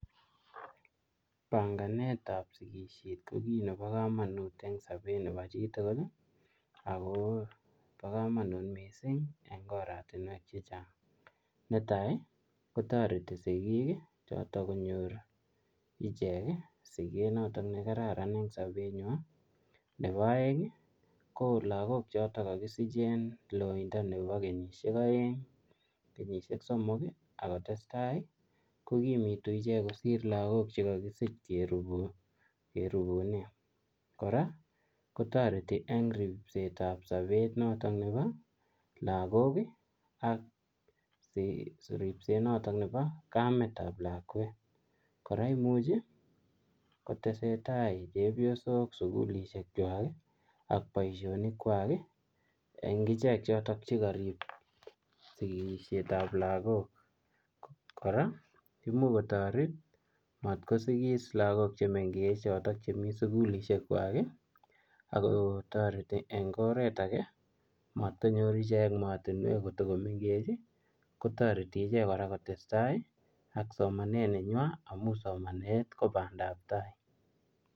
Panganeet ap sigisheet ko pakamanut missing amun netai kotaritii siggiik chotok konyoor icheeg sikeet nekararan nepo aeek lagok chekikakisich kosirege kenyishek chechang kokimenmising kosir lagok chekarup kee kora komuchii kotaret matkonyor lagook maatunwek komengechen